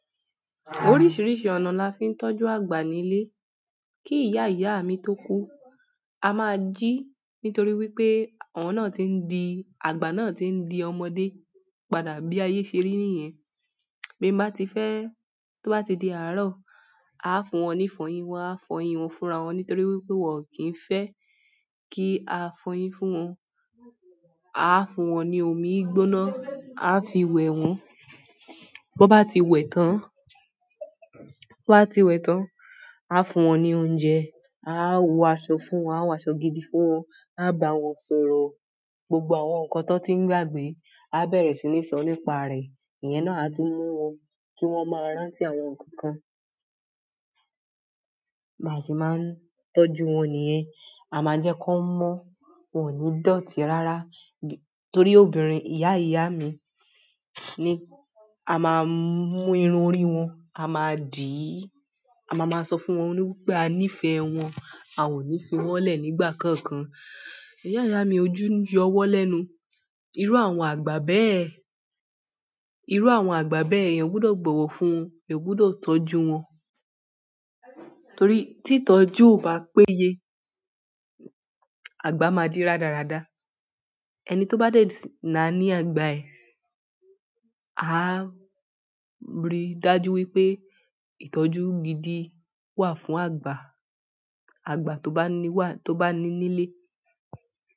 Oríṣìíríṣìí ọ̀nà la fi ń tọ́jú àgbà nílé. Kí ìyá ìyá mi tó kú, a máa jí nítorí wípé ọ̀nà tí ń di, àgbà náà tí ń di ọmọdé padà bí ayé ṣe rí niyẹn. Bín bá ti fẹ́, tó bá ti di àárọ̀, a fún wọn ní ifọyín, wa fọyín wọn, fúnra wọn nítorí wípé wọn kì ń fẹ́ kí a fọyín fún wọn. A fún wọn ní omi gbóná, a fi wẹ̀ wọ́n. Bọ́n bá ti wẹ̀ tán, bọ́n bá ti wẹ̀ tán, a fún wọn ní oúnjẹ, a wo aṣọ fún wọn, a wo aṣọ gidi fún wọn, a gbà wọn sórò. Gbogbo àwọn nǹkan tan tí ń gbàgbé a bẹ̀rẹ̀ sí ní sọ nípa rẹ̀. Ìyẹn náà a tún mu wọn kí wọ́n máa rántí àwọn nǹkan kan. Báa se máa ń tọ́jú wọn nìyẹn. A maa n je kan mo torí obìnrin iya iya mi a máa mú irun orí wọn, a máa dì í, a máa máa sọ fún wọn wípé a nífẹ̀ẹ́ wọn, a ò ní fi wọ́n lẹ́ nígbà kankan. Ìyá ìyá mi ojú yọ wọ́n lẹ́nu. Irú àwọn àgbà bẹ́ẹ̀, irú àwọn àgbà bẹ́ẹ̀ eeyan gbudọ̀ bọ́wọ́ fún won eeyan gbudọ̀ tọ́jú wọn. Torí tí ìtọ́jú ò bá péye, àgbà máa di rádaràda. Ẹni tó bá de na ní àgbà ẹ, a rí i dájú wípé ìtọ́jú gidi wà fún àgbà, àgbà tó bá ní wà, tó bá ní nílé.